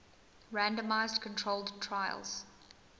randomized controlled trials